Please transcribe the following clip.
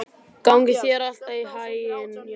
Gangi þér allt í haginn, Jakob.